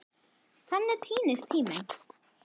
Þannig týnist tíminn.